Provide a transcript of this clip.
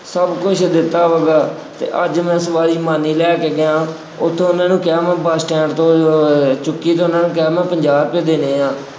ਸਭ ਕੁੱਝ ਦਿੱਤਾ ਹੈਗਾ ਅਤੇ ਅੱਜ ਮੈਂ ਸਵਾਰੀ ਮਾਨੀ ਲੈ ਕੇ ਗਿਆ, ਉੱਥੋ ਉਹਨਾ ਨੂੰ ਕਿਹਾ ਮੈਂ ਬੱਸ ਸਟੈਂਡ ਤੋਂ ਅਹ ਚੁੱਕੀ ਅਤੇ ਉਹਨਾ ਨੇ ਕਿਹਾ ਮੈਂ ਪੰਜਾਹ ਰੁਪਏ ਦੇਣੇ ਆ।